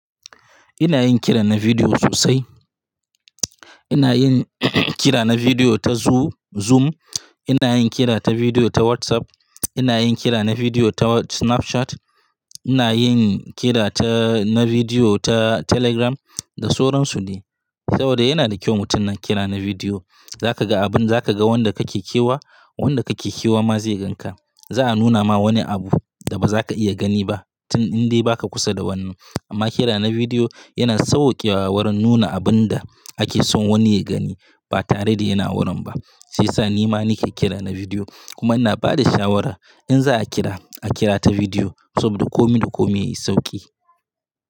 Ina yin kira na bidiyo sosai. Ina yin kira na bidiyo ta Zoo-Zoom. Ina yin kira ta bidiyo ta WhatsApp. Ina yin kira na bidiyo ta Snapchat. Ina yin kira ta, na bidiyo ta Telegram. Da sauransu ne. Saboda yana da kyau mutum na kira na bidiyo. Za ka ga abun, za ka ga wanda ka ke kewa. Wanda ka ke kewa ma zai gan ka. Za a nuna ma wani abu da ba za ka iya gani ba tun in dai ba ka kusa da wannan. Amma kira na bidiyo yana sauwaƙewa wurin nuna abun da ake son wani ya gani ba tare da yana wurin ba. Shiyasa ni ma ni ke kira na bidiyo. Kuma ina ba da shawara in za a kira, a kira ta bidiyo saboda kome da kome yayi sauƙi.